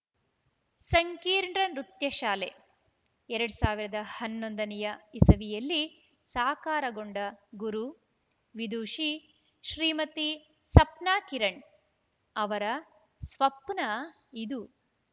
ಸಂಕೀರ್ಣ ನೃತ್ಯ ಶಾಲೆ ಎರಡು ಸಾವಿರದ ಹನ್ನೊಂದ ನೇ ಇಸವಿಯಲ್ಲಿ ಸಾಕಾರಗೊಂಡ ಗುರು ವಿದುಷಿ ಶ್ರೀಮತಿ ಸಪ್ನಾ ಕಿರಣ ಅವರ ಸ್ವಪ್ನ ಇದು